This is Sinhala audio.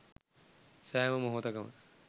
සෑම මොහොතකම